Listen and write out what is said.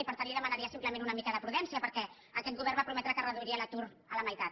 i per tant li demanaria simplement una mica de prudència perquè aquest govern va prometre que reduiria l’atur a la meitat